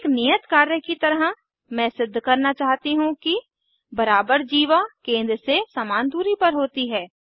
एक नियत कार्य की तरह मैं सिद्ध करना चाहती हूँ कि बराबर जीवा केंद्र से समान दूरी पर होती हैं